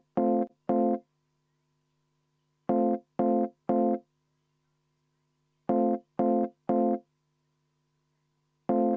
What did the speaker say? Ja ühtlasi ma võtan ka kümme minutit vaheaega enne hääletust.